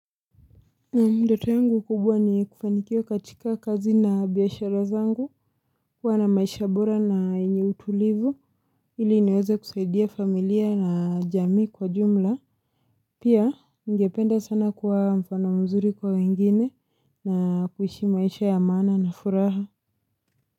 Ndoto yangu kubwa ni kufanikiwa katika kazi na biashara zangu kuwa na maisha bora na yenye utulivu ili niweze kusaidia familia na jamii kwa jumla Pia ningependa sana kuwa mfano mzuri kwa wengine na kuhishi maisha ya maana na furaha.